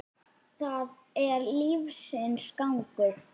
Það er lífsins gangur.